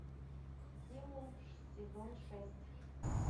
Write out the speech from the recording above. семон сезон шесть